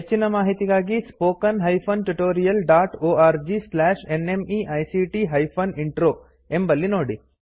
ಹೆಚ್ಚಿನ ಮಾಹಿತಿಗಾಗಿ spoken hyphen tutorial dot org slash NMEICT hyphen intro ಎಂಬಲ್ಲಿ ನೋಡಿ